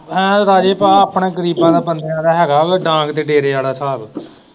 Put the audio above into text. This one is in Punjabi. ਹੈਂ ਰਾਜੂ ਭਾ ਆਪਣੇ ਗਰੀਬਾਂ ਦਾ ਬੰਦਿਆਂ ਦਾ ਹੈਗਾ ਡਾਂਗ ਤੇ ਡੇਰੇ ਵਾਲਾ ਹਿਸਾਬ।